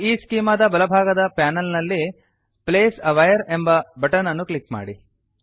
ಈಸ್ಚೆಮಾ ದ ಬಲಭಾಗದ ಪಾನಲ್ ನಲ್ಲಿ place a wire place a wire ಎಂಬ ಬಟನ್ ಅನ್ನು ಕ್ಲಿಕ್ ಮಾಡಿ